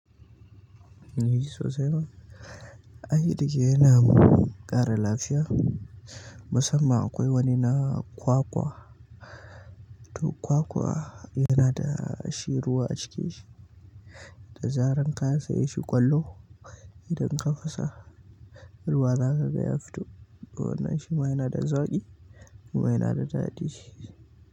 Ni sosai ma. Ai dake yana ƙara lafiya musamman akwai wani na kwakwa to kwakwa yana da shi ruwa a ciki shi, da zarar ka saye shi ƙwallo idan ka fasa ruwa zakaga ya fito ruwan na shima yanada zaƙi kuma yanada daɗi.